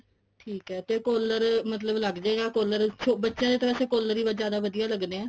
ਠੀਕ ਐ ਤੇ collar ਮਤਲਬ ਲੱਗਜੇਗਾ collar ਬੱਚਿਆ ਦਾ ਤਾਂ ਵੈਸੇ collar ਹੀ ਜਿਆਦਾ ਵਧੀਆ ਲੱਗਦਾ